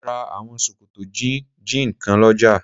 Mo ra àwọn sòkòtò jíìnì ní ọjà.